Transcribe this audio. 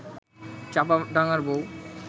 'চাপা ডাঙার বউ'